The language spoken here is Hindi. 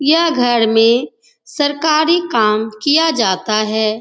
यह घर में सरकारी काम किया जाता है।